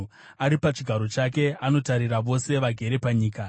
ari pachigaro chake anotarira vose vagere panyika,